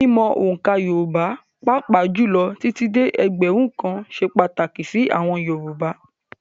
Mímc òǹkà Yorùbá, pàápàá jùlọ títí dé ẹgbẹ̀rún kan ṣe pàtàkì sí àwọn Yorùbá